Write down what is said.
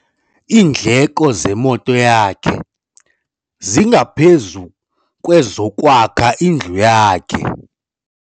Iindleko zemoto yakhe zingaphezu kwezokwakha indlu yakhe.